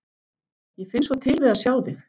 Ég finn svo til við að sjá þig.